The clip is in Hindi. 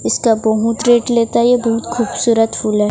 इसका बहुत रेट लेता है ये बहुत खूबसूरत फूल है।